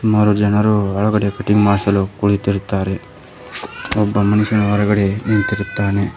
ಮೂರು ಜನರು ಒಳಗಡೆ ಕಟಿಂಗ್ ಮಾಡ್ಸಲು ಕುಳಿತಿರುತ್ತಾರೆ ಒಬ್ಬ ಮನುಷ್ಯನು ಹೊರಗಡೆ ನಿಂತಿರುತ್ತಾನೆ.